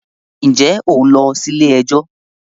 ǹjẹ́ ò ń lọ sí “ilé ẹjọ́ ”?